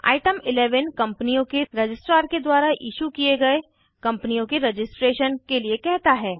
item 11 कम्पनियों के registrar के द्वारा इशू किये गए कम्पनियों के रजिस्ट्रेशन के लिए कहता है